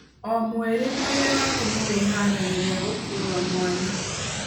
O mweri mwĩrĩ waku nĩwĩharagĩrĩria gũkua mwana.